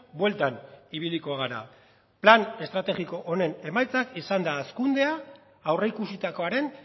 bueltan ibiliko gara plan estrategiko honen emaitza izan da hazkundea aurreikusitakoaren